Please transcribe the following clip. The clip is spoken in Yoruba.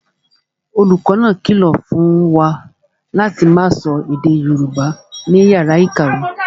Olùkọ́ náà kìlọ̀ fún wa láti máa sọ èdè Yorùbá ní yàrá ìkàwé